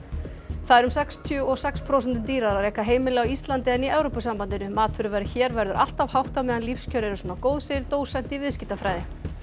það er um sextíu og sex prósentum dýrara að reka heimili á Íslandi en í Evrópusambandinu matvöruverð hér verður alltaf hátt á meðan lífskjör eru svona góð segir dósent í viðskiptafræði